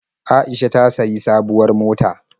Aisha ta sayi sabuwar mota.